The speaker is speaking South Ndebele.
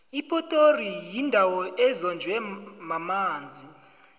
ipitori yindawo ezonjwe mamanzi